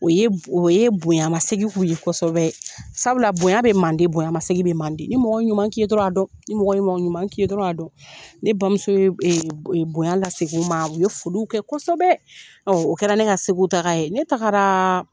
O ye o ye bonyanmasegi k'u ye kosɛbɛ sabula bonya bɛ mande bonyanmasegi bɛ mande ni mɔgɔ ye ɲuman k'i ye dɔrɔn a dɔn ni mɔgɔ ye mɔgɔ ɲuman k'i ye dɔrɔn a dɔn ne bamuso ye e e bonya laseg'u ma u ye foliw kɛ kosɛbɛ ɔ o kɛra ne ka segu taa ye ne taara